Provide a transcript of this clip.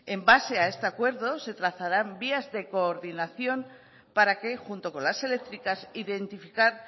en base a estos acuerdos se trazarán vías de coordinación para que junto con las eléctricas identificar